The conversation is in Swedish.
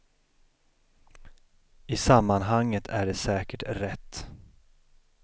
I sammanhanget är det säkert rätt.